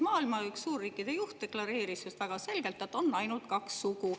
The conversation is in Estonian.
Maailma ühe suurriigi juht deklareeris väga selgelt, et on ainult kaks sugu.